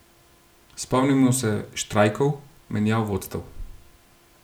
Spomnimo se štrajkov, menjav vodstev.